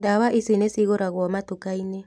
Ndawa ici nĩcigũragwo matukainĩ